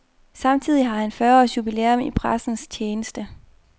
Samtidig har han fyrreårs jubilæum i pressens tjeneste.